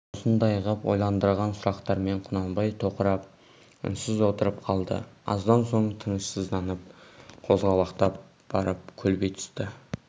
осындай ғып ойландырған сұрақтармен құнанбай тоқырап үнсіз отырып қалды аздан соң тынышсызданып қозғалақтап барып көлбей түсті